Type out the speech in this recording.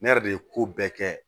Ne yɛrɛ de ye ko bɛɛ kɛ